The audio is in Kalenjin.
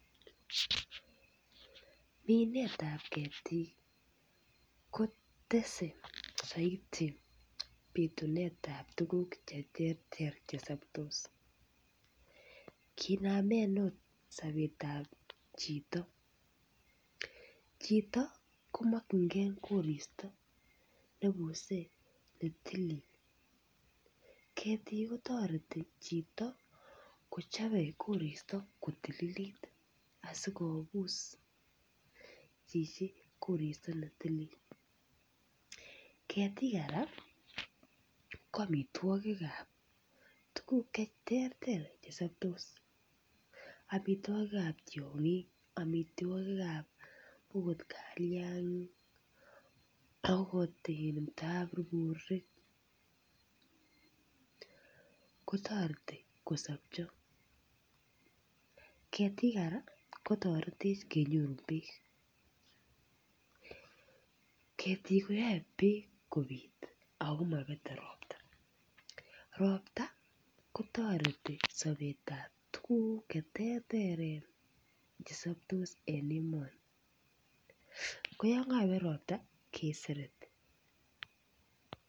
Minet ap ketiikn kotese saiti pituneet ab tukuk che terter che sobtos. Kinamen angot sobetap chito. Chito komakchinkei koristo neibuse ne tilil. Ketik kotareti chito kochobe koristo kotililit akikobus chichi koristo ne tilil. Ketik kora ko amitwakikab tukuk che terter che sobtos. Amitwakikab tiongik, amitwogikab angot kaliang'ik angot in taburburik kotareti kosobcho. Ketik kora kotaretech kenyorun peek. Ketik koyaei peek kobit ako mapete ropta. Ropta kotareti sobetab tukuk che terteren che sobtos eng emoni. Ko ya kapet ropta kesereti.